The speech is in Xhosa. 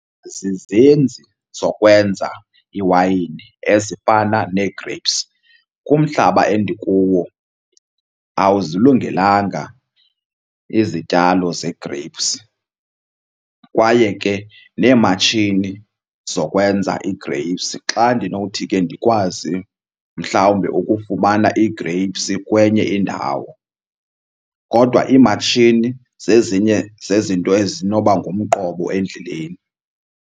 Zizenzi zokwenza iwayini ezifana nee-grapes. Kumhlaba endikuwo awuzilungelanga izityalo ze-grapes kwaye ke neematshini zokwenza ii-grapes xa ndinothi ke ndikwazi mhlawumbe ukufumana ii-grapes kwenye indawo. Kodwa iimatshini zezinye zezinto ezinoba ngumqobo endleleni.